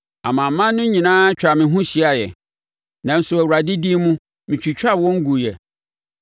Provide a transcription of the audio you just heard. Amanaman no nyinaa twaa me ho hyiaaɛ, nanso Awurade din mu metwitwaa wɔn guiɛ.